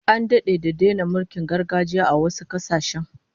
An dade da daina mulkin gargajiya a wasu kasashen